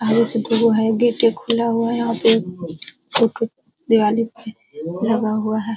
आगे से जो है गेट खुला हुआ है। यहां पे एक लगा हुआ है।